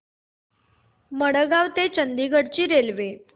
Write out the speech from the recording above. मडगाव ते चंडीगढ ची रेल्वे